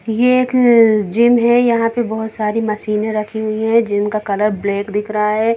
ये एक जिम है यहाँ पे बहोत सारी मशीने रखी हुई हैं जिम कलर ब्लैक दिख रहा है।